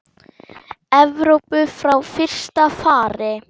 Evrópu frá fyrsta fari.